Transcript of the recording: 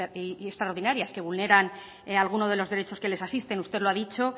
extraordinarias que vulneran alguno de los derechos que les asisten usted lo ha dicho